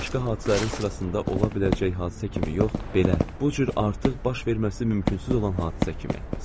Başqa hadisələrin sırasında ola biləcək hadisə kimi yox, belə, bu cür artıq baş verməsi mümkünsüz olan hadisə kimi.